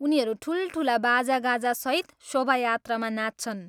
उनीहरू ठुलठुला बाजागाजासहित शोभायात्रामा नाच्छन्।